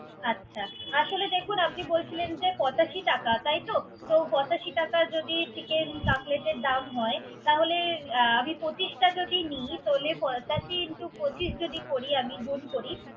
আচ্ছা। আসলে দেখুন আপনি বলছিলেন যে, পঁচাশি টাকা, তো পঁচাশি টাকা যদি Chicken Cutlet এর দাম হয়। আমি পঁচিশটা যদি নি। তাহলে পঁচাশি In to পচিশ যদি করি আমি। গুন করি।